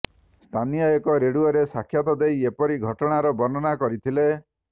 ସ୍ଥାନୀୟ ଏକ ରେଡିଓରେ ସାକ୍ଷାତ ଦେଇ ଏପରି ଘଟଣାର ବର୍ଣ୍ଣନା କରିଥିଲେ